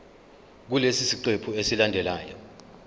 kulesi siqephu esilandelayo